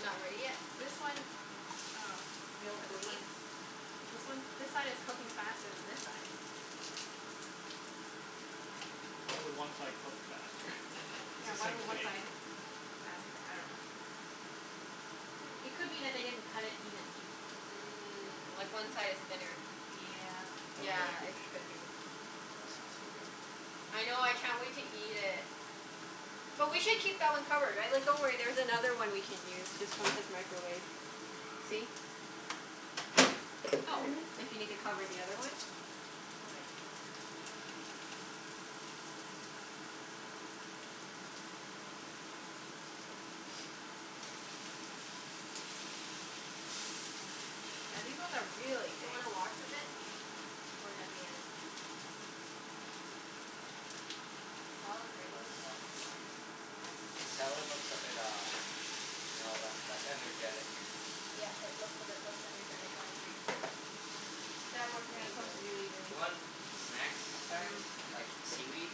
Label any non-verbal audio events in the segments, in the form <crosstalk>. Not ready yet? This one, oh, I'm gonna Won't put this one bleed? This one, this side is cooking faster than this side. Why would one side cook faster? <laughs> It's Yeah, the why same would one steak. side cook faster? I dunno. It Hmm. could be that they didn't cut it evenly. Mm. Like one side is thinner. Yep. Oh yeah, Yeah, could it be. could be. Oh, it smells so good. I know. I can't wait to eat it. But we should keep that one covered, right? Like, don't worry, there's another one we can use just from his microwave. See? Oh. If you need to cover the other one. Okay. <noise> Yeah, these ones are really Do you thick. wanna wash a bit? Or are you at the end? We Salad's ready. can always wash at the end. The salad looks a bit uh, you know, le- less energetic. Yeah, it looks a bit less energetic. I agree. We can add more Yeah, green this to smells it really, then. really You want good. snacks, guys? Mmm. Like, seaweed?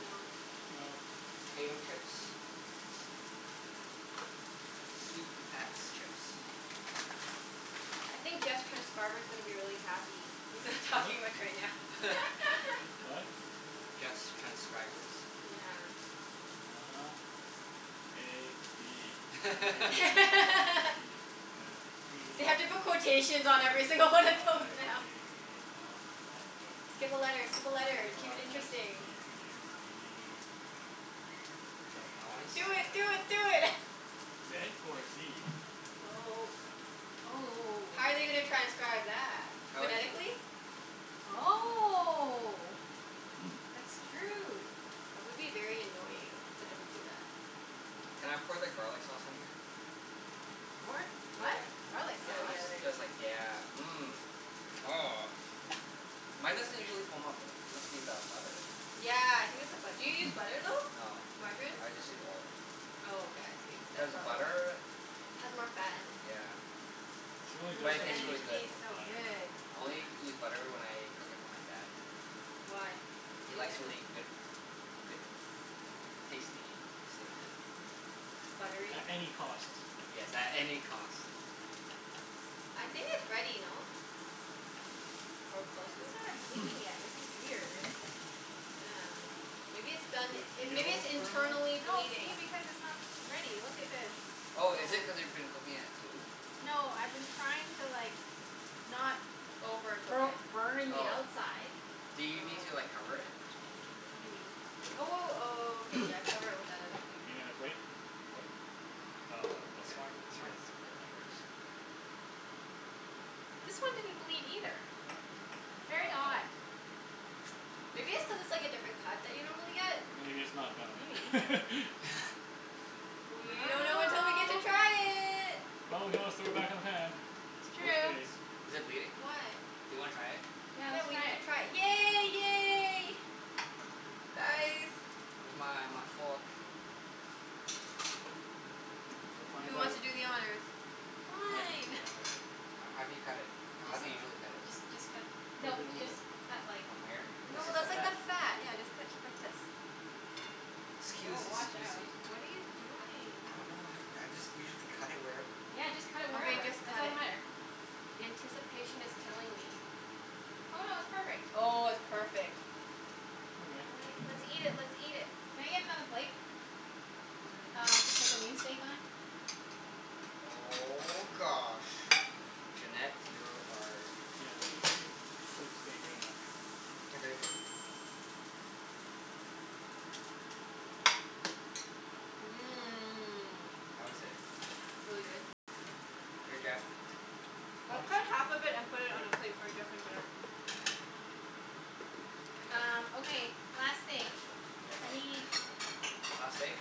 No. No. Potato chips? Sweet potats chips. I think Jeff's transcriber's gonna be really happy. He's not What? talking much right now. <laughs> <laughs> What? Jeff's transcribers. Yeah. uh-huh. A b c <laughs> d <laughs> e f p They have to put quotations h i j k l on m every n single one of those now. o p Skip a letter! Skip a q letter! Keep it r s t u interesting. v w I wanna x s- Do y it! zed. Do it! Do it! Zed or zee? Oh. Oh oh oh How oh. are they gonna transcribe that? How is it? Phonetically? I dunno. Oh. <noise> That's true. That would be very annoying if they had to do that. Can I pour the garlic sauce on here? G- what? Yeah, What? Garlic yeah, Oh sauce? yeah, just there ya because like, go. yeah. Mmm. Oh, mine doesn't <noise> usually foam up. Must be the butter. Yeah, I think it's the bu- do you use butter, <noise> though? No, Margarine? I just use oil. Oh, okay. I see. Cuz That's probably why. butter, Has more fat in it. yeah. She only True, But just it but started tastes and it really using good. b- tastes so butter. good. I only Yeah. use butter when I cook it for my dad. Why? He He likes likes really it? good good tasty steak. Buttery? At any cost. Yes, at any cost. I think it's ready, no? Or close It to it? hasn't started bleeding <noise> yet. This is weird. Yeah. Maybe it's done, Does it it, maybe it's feel firm, though? internally No, see? bleeding? Because it's not ready. Look at this. Oh, is it Yeah. cuz you've been cooking at two? No, I've been trying to like not Overcook bo- it. burning the Oh. outside. Do you need to Oh. like cover it or something? Maybe. Oh w- w- okay, yeah, <noise> cover it with that other thing. Need another plate? Yep. Oh, Oh, this okay. wine, this wine Sure, is good. that works. This one didn't bleed either. Very odd. uh-oh. Maybe it's cuz it's like a different cut that you normally get? Maybe it's not Maybe. done. <laughs> <laughs> We I don't know until don't we get to know. try it. Well, we can always throw it back in the pan. It's Worst true. case. Is it bleeding? Do Why? you wanna try it? Yeah, Yeah, let's we try need to it. try it. Yay! Yay! Guys. <inaudible> Where's my my fork? We'll Who find wants out. to do the honors? Mike can do the Fine. <noise> honors. H- how do you cut it? I How Just do you dunno. usually cut it? just just cut a p- Cut it No, through the just middle. cut like From here? This No, Oh, is this the that's is Yeah. new. like the fat. fat. Yeah, just cut t- like this. K. Woah, Scusi, watch out. scusi. What are you doing? I don't know, honey. I just usually cut it wherever. Yeah, just cut it Okay, wherever. just It cut doesn't it. matter. The anticipation is killing me. Oh no, it's perfect. Oh, it's Oh. perfect. Okay. I wanna, let's eat it, <noise> let's eat it. Can I get another plate? Mm. Um, to put the new steak on. Oh gosh, Junette, you're our Yeah, she she cooks steak better than I do. Here babe. Mmm. How is it? Really good. Here Jeff. Let's cut Ah. half of it and put All it on a right. plate for Jeff and Junette. Um, Okay. okay, last steak. Yeah. I need Last steak?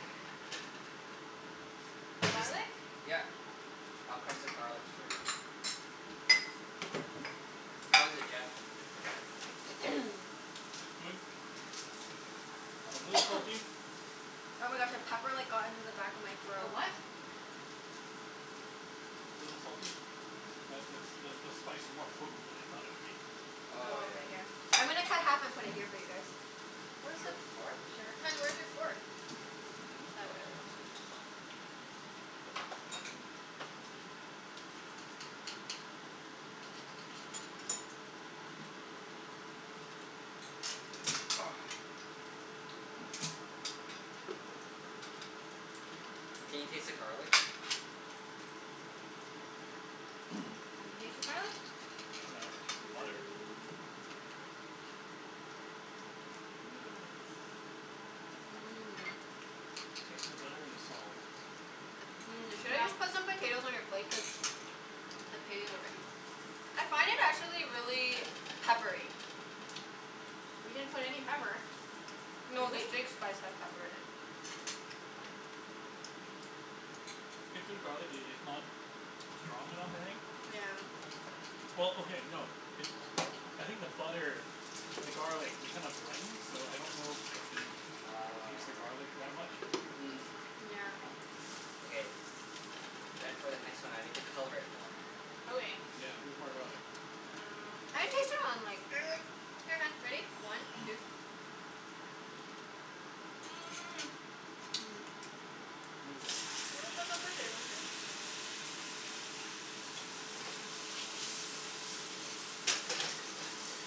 Just, <noise> garlic. yep. I'll crush the garlics for you. How is it, Jeff? <noise> <noise> It's good. <noise> A little salty. <noise> Oh my gosh, a pepper like got into the back of my A throat. what? <noise> It's a little salty. That that the spice is more potent than I thought it would be. Oh Oh, yeah. okay. Here. I'm gonna cut half and put it here <noise> for you guys. Where's the Sure. fork? Sure. Hun, where's your fork? Ah, whatever. Let's just u- <noise> Oh. <noise> Can you taste the garlic? <noise> Can you taste the garlic? I dunno. I taste the butter. Mmm. Here you go. Mmm. Mmm. <noise> Taste the butter and the salt. Mmm. Should I just <noise> Yep. put some potatoes on your plate? Cuz potatoes are ready. I find it, actually, really peppery. We didn't put any pepper. No, Did the we? steak spice has pepper in it. <noise> Get through garlic, i- it's not <noise> strong enough, I think. Yeah. Well, okay, no. It I think the butter and the garlic, they kind of blend. So I don't know if I can taste the Oh. garlic that much. Mm. Yeah. Okay. Then for the next one I need to color it more. Okay. Yeah, needs more garlic. Um I can taste it on like Here, hun, ready? One two <noise> <noise> <noise> <noise> Mmm. Mmm. You wanna put some potatoes here?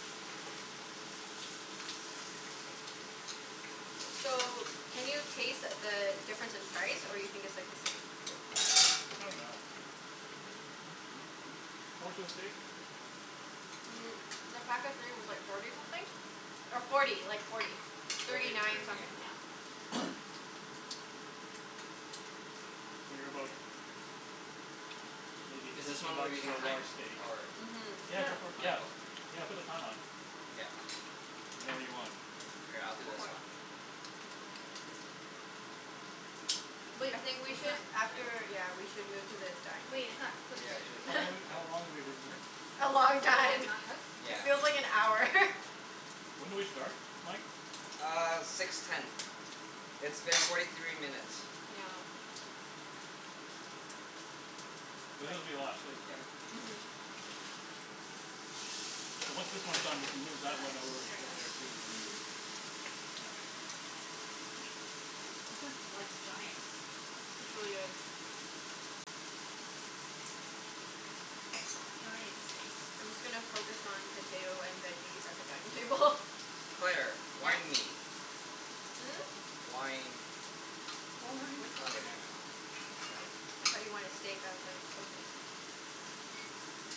<noise> So, can you taste the difference in price, or you think it's like the same? I dunno. Hmm hmm hmm, how much was the steak? Mm, the pack of three was like forty something. Or forty. <inaudible> Like forty. Thirty Thirty thirty nine something, nine. yeah. <noise> Figure about <noise> maybe Is this thirteen one we're bucks using for a large thyme, steak. or <noise> Mhm. Yeah, go Sure. for it. Oh yeah, Yeah, cool. yeah, put the time on. Yep. Whenever you want. Here, I'll do Go this for it. one. <noise> But I think we is should, that Yeah. after, yeah, we should move to the Wait, dining it's not Yeah, cooked I yet. should've How told long room her soon. have w- <laughs> to. how long have we been here? A long Even when time. it's not cooked? It Yeah. feels like an hour. <laughs> When did we start, Mike? Uh, six ten. It's been forty three minutes. Yeah. <noise> <noise> This is gonna <inaudible> be a lot of steak, Yeah. right? Mhm. <noise> Mhm. <noise> So once this one's done we can move that one over Nice. There to we go. there too, and Yeah. This is like, giant. It's really good. Giant steaks. I'm just gonna focus on potato and veggies at the dining table. Claire, Yeah. wine me. Hmm? Wine. More Wine. wine Which Oh one's okay, never yours <inaudible> mind. though? I got it. I thought you wanted steak. I was like, okay.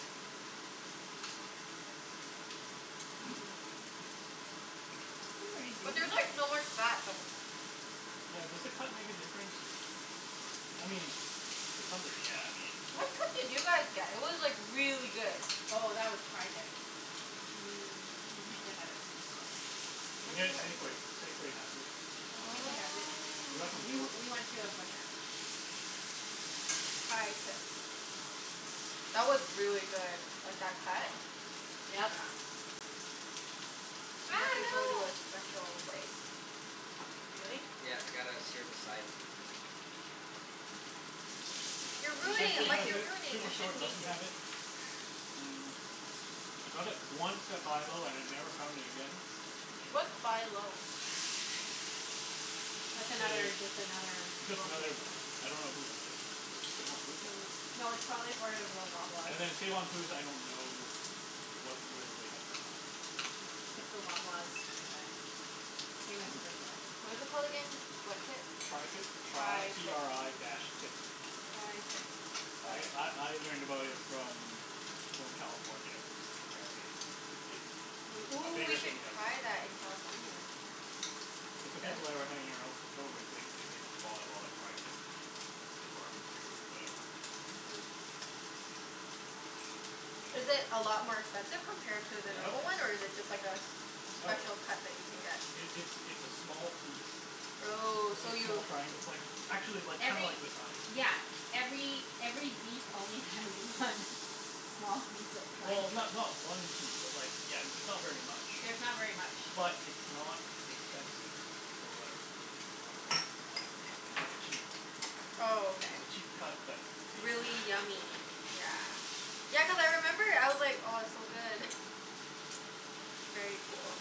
<noise> <noise> Mmm. <noise> It's pretty But juicy. there's like so much fat though. Yeah, does the cut make a difference? I mean, to some degree, yeah. <noise> I mean What cut did you guys get? It was like really good. Oh, that was tri-tip. You can't Mmm. get that at Superstore. You can Where do get you it have at w- Safeway. Safeway has it. Safeway has it. Um We Oh. we went <inaudible> to a butcher. tri-tips. That was really good. Like, that cut. Yeah. Yep. You have Ah, to go to no. a special place. Really? Yeah, you gotta sear the sides and <noise> You're You <noise> ruining shouldn't it, Safeway need Mike, has to. you're it. ruining it. You Superstore shouldn't need doesn't to. have it. Mm I got it once at Buy Low and I never found it again. What's Buy Low? That's I- it's another, just another just grocery another store. I don't know who owns it. Is it Save on Foods? I Mm. <noise> Hmm. dunno. No, it's probably for <inaudible> Loblaws. And then Save on Foods, I don't know what, whether they have it or not. It's the Loblaws franchise. Same as Superstore. What is it called again? What tip? tri-tip. Tri t tri-tip. r i dash tip. tri-tip. I Got it. I I learned about it from people in California cuz apparently it's i- it's We, a ooh, we bigger should thing down there. try that in California. It's the <noise> people I were hanging arou- out with. They they they bought a lot of tri-tip. To barbecue or whatever. Yeah. Is it a lot more expensive compared to the Yeah, a No. normal one, or miss. is it just like a s- No. special cut that you can get? It it's it's a small piece. It's Oh, only so a small you triangle. It's like actually like, kinda Every like this size. Yeah, every every beef only has one small piece of tri- Well, ti- not not one piece, but like, yeah, it's not very much. There's not very much. But it's not expensive. For whatever wer- wer- whatever whatever reason. It's like a cheap Oh, okay. it's a cheap cut that's tasty. Really yummy. Yeah. Yeah, cuz I remember I was like, "Oh, it's so good." <laughs> Very cool.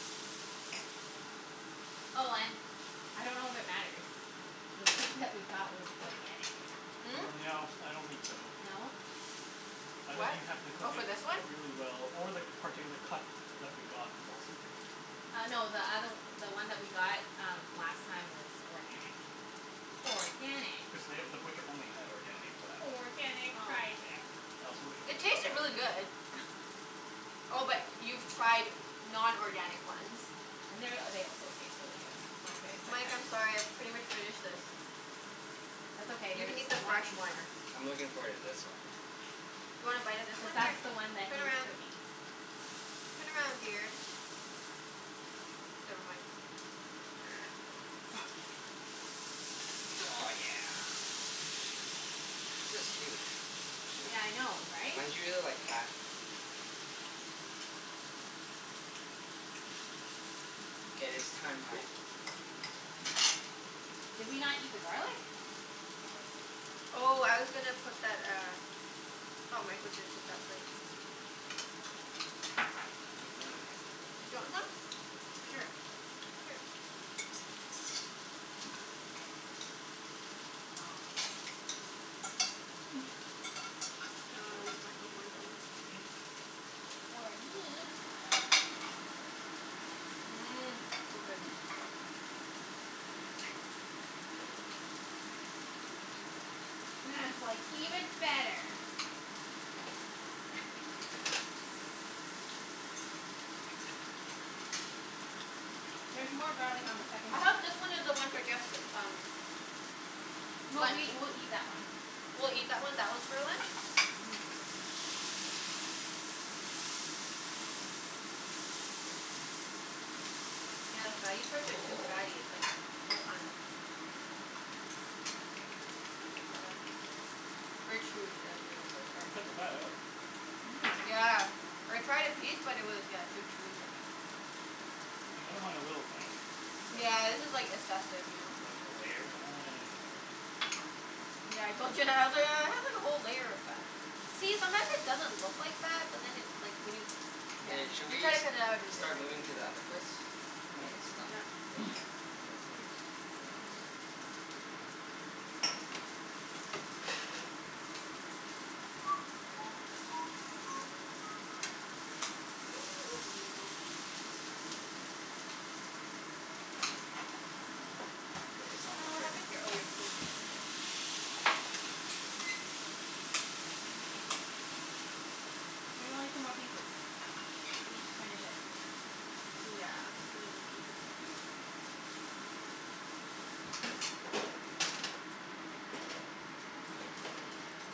Oh and, I don't know if it matters the steak that we got was organic. Hmm? No, I don't think so. No? I think What? you happened to Oh, cook for it this one? really well or the particular cut that we got was also good. Uh no, the othe- the one that we got um last time was organic. Organic. Cuz they, the butcher only had organic for that one. Organic tri-tip. I also It tasted really good. <inaudible> <noise> Oh, but y- Yeah. you've tried non-organic ones? And they're, they also taste really good. Oh, They okay. taste like Mike, that I'm sorry. I've pretty much finished this. That's okay, You there's can eat the lots fresh one. more. I'm looking forward to this one. You wanna bite of this Cuz one? Here. <noise> that's the one that Turn he's around. cooking. Turn around, dear. Never mind. <noise> Oh, <laughs> yeah. This is huge. Yeah. Yeah, I know, right? Mine's usually like half K, it's thyme time. Did we not eat the garlic? Oh. <noise> Oh, I was gonna put that uh Thought Mike was gonna take that plate. We have garlic. <noise> Do you want some? Sure. Sure. <noise> Here. <noise> <noise> Great. Noms. <noise> <noise> Ah, I'll leave Mike with one Oh, piece. sorry. Or me. Mmm. So good. Mmm. Mmm. <laughs> That's like even better. There's more garlic on the <noise> second I hope this steak. one is the one for guests, um No, we lunch. we'll eat that one. <noise> We'll eat that one. That one's for lunch? Mhm. <noise> <noise> Yeah, the fatty parts are too fatty. <noise> It's like <inaudible> <noise> Let me take that out. Very chewy the the <inaudible> You part. can cut the fat out. Mhm. Yeah. I tried a piece but it was, yeah, too chewy for me. Like, I don't mind a little fat. <noise> But Yeah, this is like like assessive, you know? like a layer? I don't know. <noise> Yeah, I told Junette. I was like, "Oh, it has like a whole layer of fat." See? Sometimes it doesn't look like fat, but then it like, when you, yeah Hey, should you we try s- to cut it out and it start moving isn't to the other place? When this is <inaudible> done? Yeah. <noise> Yeah. move our plates. Thanks. <noise> <noise> K, it's Hun, almost what ready. happened to your, oh your coaster's right here. <noise> There's only two more pieces. You just <noise> finish it. Yeah, and then can you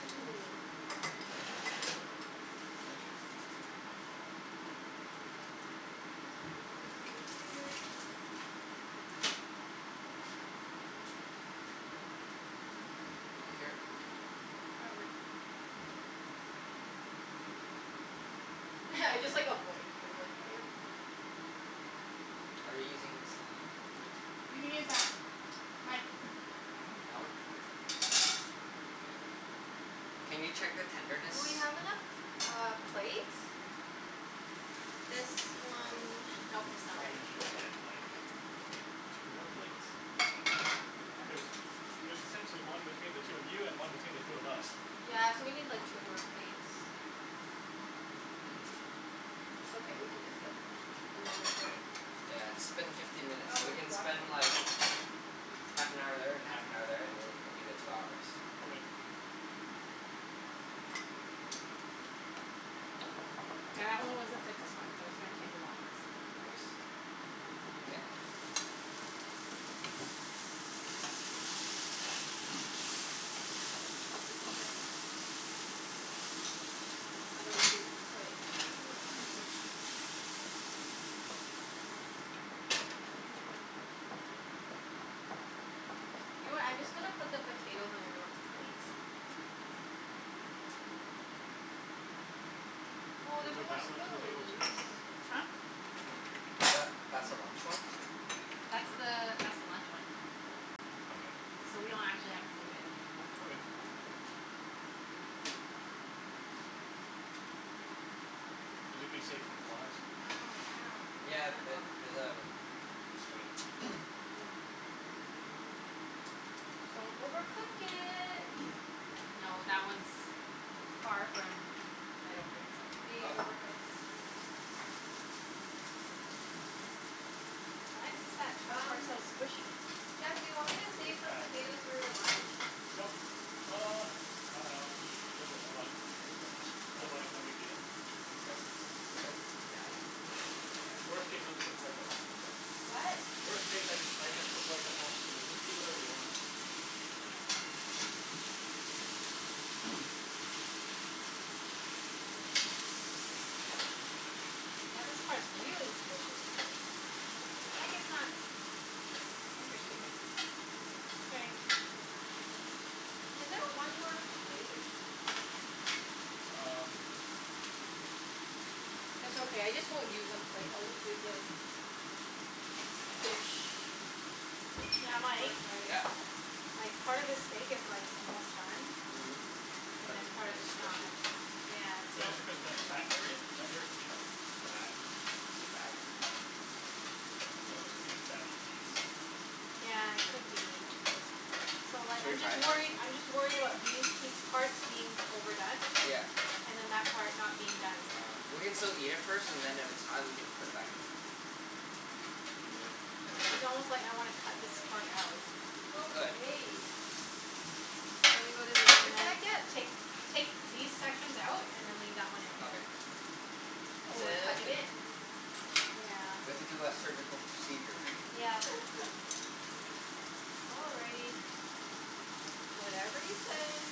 <noise> Just let me put this over here. <noise> Here. Why, what <laughs> I just like avoid you. I'm like <noise> Are you using the same, <noise> oh You can use that. Mike. Hmm? That one? K. <noise> Can you check the tenderness? Do we have enough uh, plates? This one Nope, We it's not ready. probably should K. get like two more plates? I dunno. Yeah, Cuz sure. y- there's essentially one between the two of you and one between the two of us. Yeah, so we need like two more plates. <noise> It's okay, we can just get a non-plate. Yeah, it's been fifteen minutes. Oh So no, we he can washed spend like, it. half an hour there and Yeah. half an hour there, and th- that'll be the two hours. Okay. <noise> Yeah, that one was the sickest one so it's gonna take the longest. Longest? <noise> <noise> Oh, this is their I dunno whose plate this one would be. Mhm. You know what? I'm just gonna put the potatoes on everyone's plates. Excuse me. Oh, Should there's we no move more that one to the table too, spoons. or no? Huh? Tha- that's the Y- lunch one. That's Sure. the that's the lunch one. Yeah. Okay, so we So we leave it? don't actually have to move it. Okay. <noise> <noise> Is it gonna be safe from flies? Ow, ow. <laughs> It's Yeah, kinda th- hot. there's a screen. <noise> Good. Don't overcook it. <noise> No, that one's far from, I don't think so. Being Ah, overcooked? just a minute. Why is this at, that part's Um, so squishy? Jeff, do you want me to <inaudible> a save some fat. potatoes for your lunch? Nope. K. Uh, I dunno. If there's a lot, sure, but otherwise Okay. no big deal. Just flip it now. Yeah. Worst case, I'll just cook rice at home, so What? Worst case I just I just cook Nice. rice at home, so just eat whatever you want. Okay. <noise> Yeah, this part's really squishy. <noise> Oh, I guess not Oh. Interesting. <inaudible> Is there one more plate? Hmm. Um It's okay. I just won't use a plate. I'll just use this. Dish. Yeah, Oh, Mike? sorry. Yeah. Like, part of this steak is like, almost done. Mhm, And but then part then of it's it's not. squishy. Yeah, so But is it cuz that's fat area? That area could be fat. Is it fat? I think this could be a fatty piece. Yeah, it could be. So like Should we I'm just try some? worried, I'm just worried about these pie- parts being overdone. Yeah. And then that part not being done. Ah. We can still eat it first, and then if it's not we can just put it back in. Mm, it's it's almost like I wanna cut this K. part out. We could. Okay. Shall we go to the other And then side yet? take take these sections out and then leave that one in. Okay. Oh, we're Sounds cutting good. it? Yeah. We have to do a surgical procedure. Yep. <laughs> All righty. Whatever you say.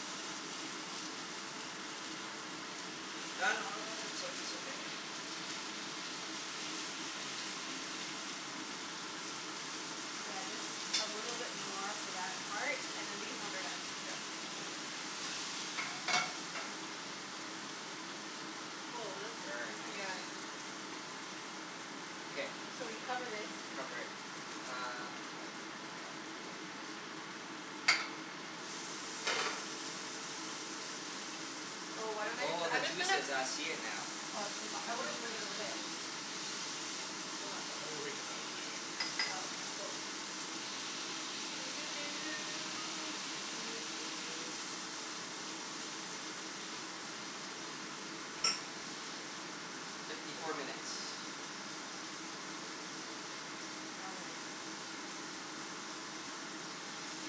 <inaudible> It's o- it's okay. <noise> Yeah, just a little bit more for that part and then these ones are done. Mkay. Woah, that's, Very nice. yeah, I thi- K. So we cover this. Cover it. Uh, I got it here. Oh, why don't I just, Oh, the I'm just gonna juices. I see it now. Oh, it's too hot. I wanna bring it over there. Mhm. Too hot, though. I'm gonna wait for that one, I think. Oh, okay. Cool. <noise> Let me see. Fifty four minutes. No worries.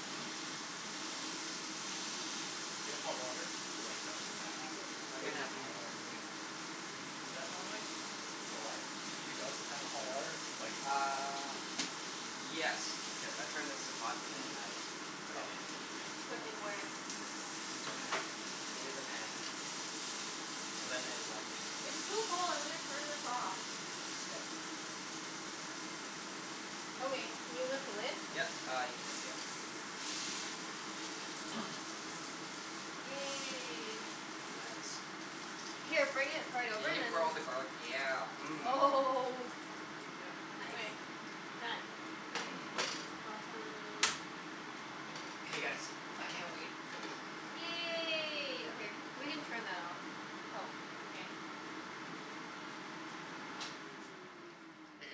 <noise> Do you have hot water to like, douse the pan after? I Or can y- have do hot you water. normally Do you do that normally? For what? Do you douse the pan with hot water like Uh, <inaudible> yes. Yes. I turn this to hot and then <noise> I put Oh. it in. Yeah. Put in where? Into the pan. Into the pan. So then it like It's too cold. I'm gonna turn this off. K. Okay, can you lift the lid? Yep. Uh, you can, yep. <noise> Yay. Nice. Here, bring it right over We and can then put all the garlic, yeah. Mmm. Oh <laughs> Yep. Nice. Okay. Done. K. <noise> Awesome. Okay guys, I can't <noise> wait. Yay. Okay. We can turn that off. Oh, okay.